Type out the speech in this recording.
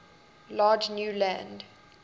large new land